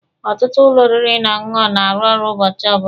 Ọtụtụ ụlọ oriri na ọṅụṅụ na-arụ ọrụ ụbọchị ọbụla.